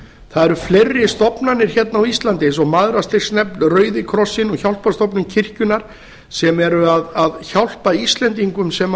það eru fleiri stofnanir hérna á íslandi eins og mæðrastyrksnefnd rauði krossinn og hjálparstofnun kirkjunnar sem eru að hjálpa íslendingum sem